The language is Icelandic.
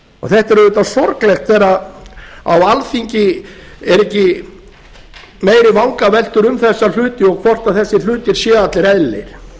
þetta er auðvitað sorglegt þegar á alþingi eru ekki meiri vangaveltur um þessa hluti og hvort þessir hlutir séu allir eðlilegir